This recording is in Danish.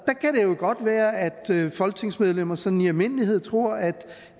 jo godt være at folketingsmedlemmer sådan i almindelighed tror at